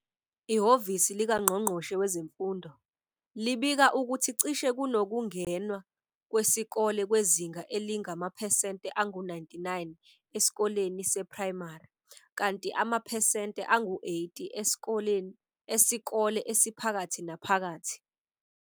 Ihhovisi likaNgqongqoshe wezeMfundo, libika ukuthi cishe kunokungenwa kwesikole kwezinga elingamaphesente angu 99 esikoleni seprayimari, kanti amaphesente angu 80 esikole esiphakathi naphakathi.